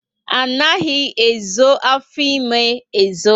Anaghị ezo afọ ímé ezo